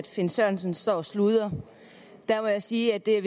finn sørensen står og sludrer der må jeg sige at det